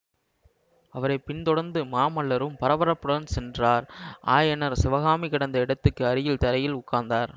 அவரை பின்தொடர்ந்து மாமல்லரும் பரபரப்புடன் சென்றார் ஆயனர் சிவகாமி கிடந்த இடத்துக்கு அருகில் தரையில் உட்கார்ந்தார்